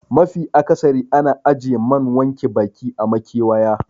Mafi akasari ana ajiye man wanke baki a makewayi